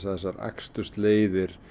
þessar akstursleiðir